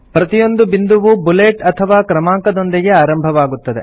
ಪ್ರತಿಯೊಂದು ಬಿಂದುವೂ ಬುಲೆಟ್ ಅಥವಾ ಕ್ರಮಾಂಕದೊಂದಿಗೆ ಆರಂಭವಾಗುತ್ತದೆ